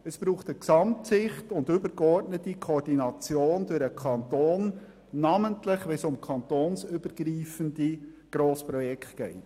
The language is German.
Es braucht eine Gesamtsicht und die übergeordnete Koordination durch den Kanton, namentlich wenn es um kantonsübergreifende Grossprojekte geht.